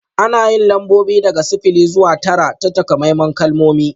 Ana yin lambobi daga sifili zuwa tara ta takamaiman kalmomi